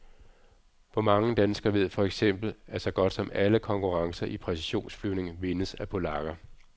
Hvor mange danskere ved for eksempel, at så godt som alle konkurrencer i præcisionsflyvning vindes af polakker.